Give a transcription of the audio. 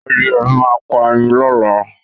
Adìyẹ mi máa pa ẹyin lọ́la